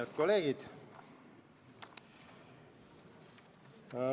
Head kolleegid!